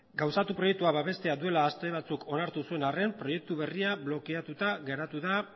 gauzatu proiektua babestea duela aste batzuk onartu zuen arren proiektu berria blokeatuta geratu da